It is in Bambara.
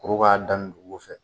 Kuru k'a daminɛ dugu fɛ